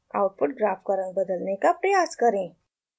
output graph का रंग बदलने का प्रयास करें